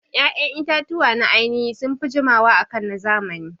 Ƴaƴan itatuwa na ainihi sunfi jiwama akan na zamani